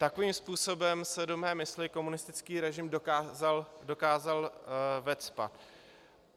Takovým způsobem se do mé mysli komunistický režim dokázal vecpat.